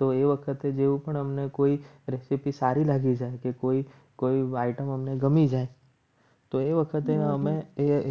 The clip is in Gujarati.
તો એ વખતે જેવું પણ અમને કોઈ practice સારી લાગી છે. કે કોઈ કોઈ white અમને ગમી જાય તો એ વખતે અમે